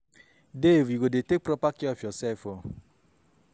Dave you go dey take proper care of yourself oo.